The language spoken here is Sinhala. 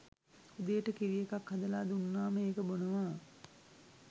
උදේට කිරි එකක් හදලා දුන්නාම ඒක බොනවා